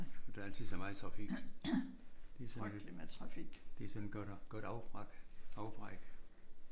Og der er altid så meget trafik. Det er sådan det er sådan et godt godt afbræk